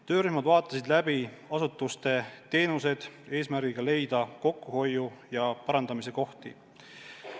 Töörühmad vaatasid läbi asutuste teenused, et leida kokkuhoiu ja parandamise kohti.